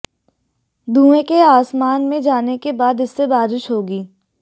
धुएं के आसमान में जाने के बाद इससे बारिश होगी